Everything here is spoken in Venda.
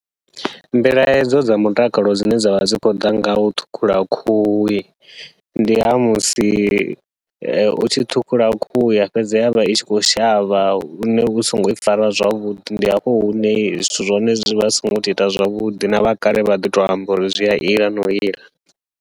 Mbilahedzo dza mutakalo dzine dzavha dzi khou ḓa ngau ṱhukhula khuhu, ndi ha musi u tshi ṱhukhula khuhu ya fhedza yavha i tshi khou shavha lune u songo i fara zwavhuḓi. Ndi hafho hune zwithu zwa hone zwivha zwi songo to ita zwavhuḓi, na vha kale vha ḓi to amba uri zwia ila nau ila.